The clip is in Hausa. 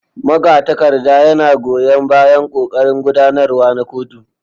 Magatakarda yana goyan bayan ƙoƙarin gudanarwa na kotu.